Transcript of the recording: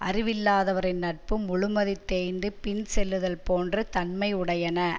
அறிவில்லாதவரின் நட்பு முழுமதி தேய்ந்து பின் செல்லுதல் போன்ற தன்மையுடையன